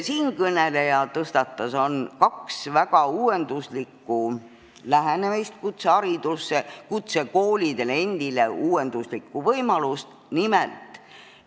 Siinkõneleja tõstatas teemana kaks väga uuenduslikku lähenemist kutseharidusele, kaks uuenduslikku võimalust kutsekoolidele endile.